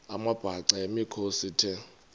amabhaca yimikhosi the